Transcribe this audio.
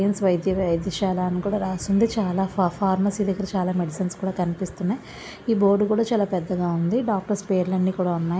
వైద్య వైద్యశాల అని కూడా రాసి ఉంది. ఫా ఫార్మసీ దగ్గర చాలా మెడిసిన్స్ కనిపిస్తున్నాయి. ఈ బోర్డు కూడా చాలా పెద్దగా ఉంది. డాక్టర్స్ పేర్లు అన్ని కూడా ఉన్నాయి.